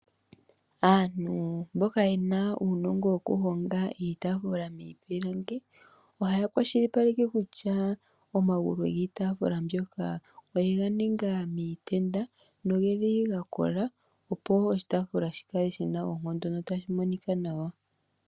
Aantu mboka yena uunongo woku honga iitafula miipilangi ohaya kwashilipaleke kusha omagulu giitafula mbyoka oyega ninga miitenda nogeli gakola opo oshitaafula shikale shina oonkondo notashi monika nawa.